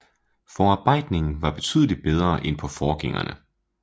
Forarbejdningen var betydeligt bedre end på forgængerne